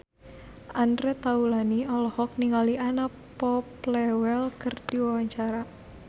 Andre Taulany olohok ningali Anna Popplewell keur diwawancara